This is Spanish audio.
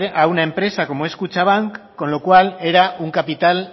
a una empresa como es kutxabank con lo cual era un capital